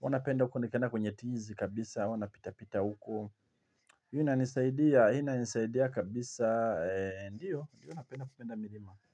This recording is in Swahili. huwanapenda nikienda kwenye tizi kabisa, huwa napita pita huko hii inisaidia, hii inisaidia kabisa, eee, ndiyo, huwa napenda kupenda milima.